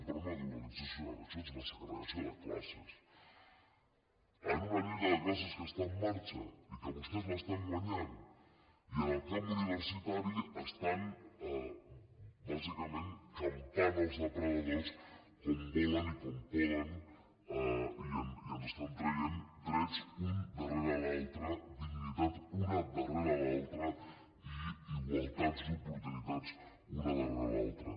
però no una dualització això és una segregació de classes en una lluita de classes que està en marxa i que vostès l’estan guanyant i en el camp universitari estan bàsicament campant els depredadors com volen i com poden i ens estan traient drets un darrere l’altre dignitat una darrera l’altra i igualtats d’oportunitats una darrera l’altra